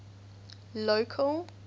local